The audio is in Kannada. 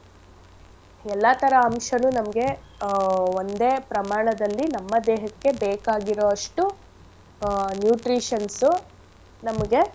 ಎಲ್ಲಾಥರ ಅಂಶನೂ ನಮ್ಗೆ ಆಹ್ ಒಂದೇ ಪ್ರಮಾಣದಲ್ಲಿ ನಮ್ಮ ದೇಹಕ್ಕೆ ಬೇಕಾಗಿರೋಷ್ಟು ಆಹ್ nutritions ಉ ನಮ್ಗೆ.